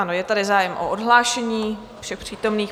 Ano, je tady zájem o odhlášení všech přítomných.